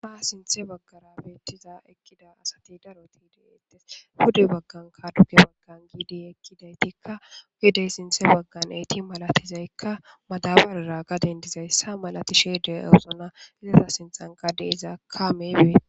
Aaa sinthe baggara beettiza ekkida asati daroti de eetes hude baggan kaduge baggan giidi ekkidaytikka gidey sinthe baggan eeti malatizaykka madabaarara gaden dizayssa malatisheede eusona ileta sinthan gade iza kaameybee.